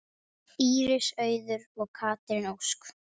Íris Auður og Katrín Ósk.